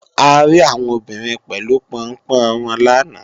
A rí àwọn obìnrin pẹ̀lú Pọnpọ́n wọn làná